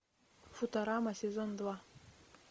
футурама сезон два